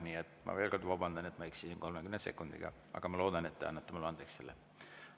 Nii et ma veel kord vabandan, et ma eksisin 30 sekundiga, aga ma loodan, et te annate mulle selle andeks.